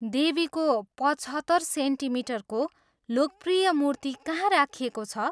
देवीको पचहत्तर सेन्टिमिटरको लोकप्रिय मूर्ति कहाँ राखिएको छ?